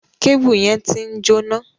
Kébùù yẹn ti ń jóná.